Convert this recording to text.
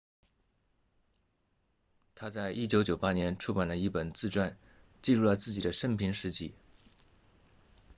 他在1998年出版了一本自传记录了自己的生平事迹